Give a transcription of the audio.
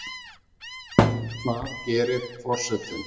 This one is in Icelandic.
Hvað gerir forsetinn